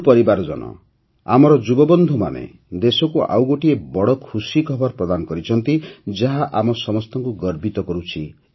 ମୋର ପରିବାରଜନ ଆମର ଯୁବବନ୍ଧୁମାନେ ଦେଶକୁ ଆଉ ଗୋଟିଏ ବଡ଼ ଖୁସି ଖବର ପ୍ରଦାନ କରିଛନ୍ତି ଯାହା ଆମ ସମସ୍ତଙ୍କୁ ଗର୍ବିତ କରୁଛି